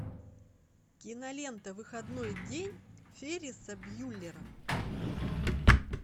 кинолента выходной день ферриса бьюллера